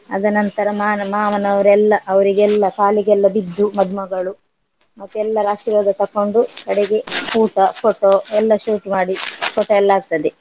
ಅದ ನಂತರ ಮಾನ~ ಮಾವನವರೆಲ್ಲ ಅವರಿಗೆಲ್ಲ ಕಾಲಿಗೆಲ್ಲ ಬಿದ್ದು ಮದ್ಮಗಳು ಮತ್ತೆ ಎಲ್ಲರ ಆಶೀರ್ವಾದ ತಕೊಂಡು ಕಡೆಗೆ ಊಟ photo ಎಲ್ಲ shoot ಮಾಡಿ photo ಎಲ್ಲ ಆಗ್ತದೆ.